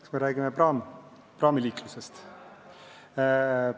Kas me räägime praamiliiklusest?